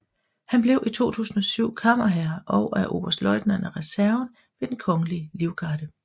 Han blev i 2007 kammerherre og er oberstløjtnant af reserven ved Den Kongelige Livgarde